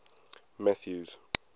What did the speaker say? mathews